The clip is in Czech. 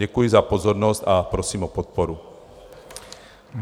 Děkuji za pozornost a prosím o podporu.